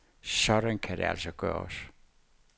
Sådan kan det altså gøres.